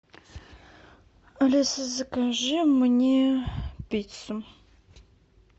алиса закажи мне пиццу